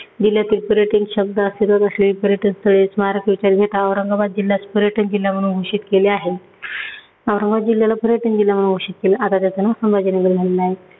जिल्ह्यातील पर्यटन पर्यटन स्थळे, स्मारक इत्यादि घेता औरंगाबाद जिल्ह्यास पर्यटन जिल्हा म्हणून घोषित केले आहे. औरंगाबाद जिल्ह्याला पर्यटन जिल्हा म्हणून घोषित केलं आता त्याचं नाव संभाजीनगर झालेलं आहे.